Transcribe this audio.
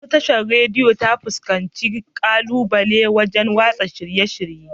Ɗazun Tashar Radiyo ta fuskanci ƙalubale wajan watsa shirye-shirye